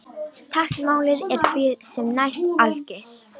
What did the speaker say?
Táknmálið er því sem næst algilt.